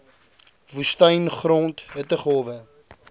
woestyn grond hittegolwe